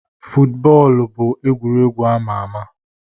Bọọlụ bụ egwuregwu ama ama.